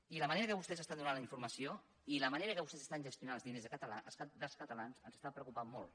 i de la manera que vostès estan donant la informació i de la manera que vostès estan gestionant els diners dels catalans ens està preocupant molt